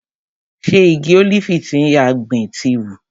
Ṣe igi ólífì tí a gbìn ti hù?